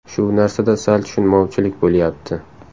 Shu narsada sal tushunmovchilik bo‘lyapti.